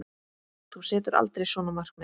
Þú setur aldrei svona markmið.